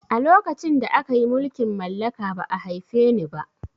A lokacin da akayi mulkin mallaka ba'a haife ni ba